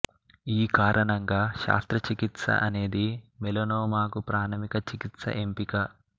ఈ కారణంగా శస్త్రచికిత్స అనేది మెలనోమాకు ప్రామాణిక చికిత్స ఎంపిక